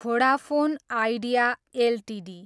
Vodafone Idea Ltd